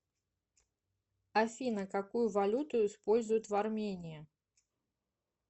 афина какую валюту используют в армении